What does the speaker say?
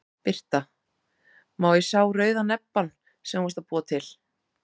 Birta: Má ég sá rauða nebbann sem þú varst að búa til?